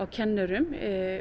kennurum